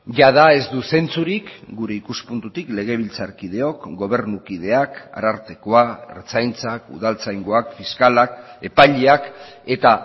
jada ez du zentzurik gure ikuspuntutik legebiltzarkideok gobernukideak arartekoa ertzaintzak udaltzaingoak fiskalak epaileak eta